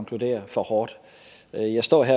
at det her fortsætter